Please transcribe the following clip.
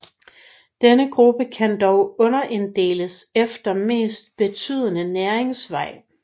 Denne gruppe kan dog underinddeles efter mest betydende næringsvej